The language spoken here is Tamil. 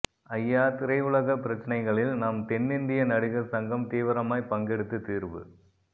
ஐயா திரையுலகப் பிரச்சினைகளில் நம் தென்னிந்திய நடிகர் சங்கம் தீவிரமாய் பங்கெடுத்து தீர்வு